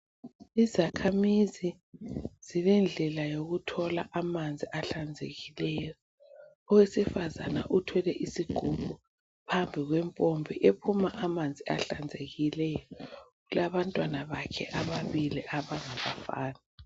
Izakhamizi zilendlela yokuthola amanzi ahlanzekileyo owesifazana uthwele isigubhu phambi kwempompi ephuma amanzi ahlanzekileyo ulabantwana bakhe ababili abangabafana.